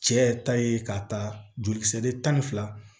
Cɛ ta ye ka taa jolikisɛ tan ni fila